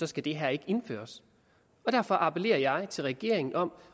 skal det her ikke indføres derfor appellerer jeg til regeringen om